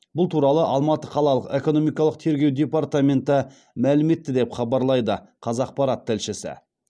бұл туралы алматы қалалық экономикалық тергеу департаменті мәлім етті деп хабарлайды қазақпарат тілшісі